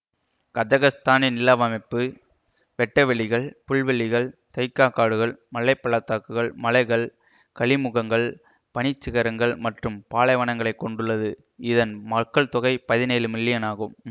கசக்ஸ்தானின் நிலவமைப்பு வெட்டவெளிகள் புல்வெளிகள் தைக்கா காடுகள் மலை பள்ளத்தாக்குகள் மலைகள் கழிமுகங்கள் பனிச்சிகரங்கள் மற்றும் பாலைவனங்களைக் கொண்டுள்ளதுஇதன் மக்கள்தொகை பதினேழு மில்லியனாகும்